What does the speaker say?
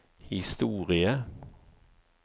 historie